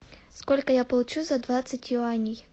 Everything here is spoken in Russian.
сколько я получу за двадцать юаней